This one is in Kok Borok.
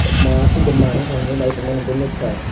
mo aswkda maar ungkha hinwi naitongmani bo nukha.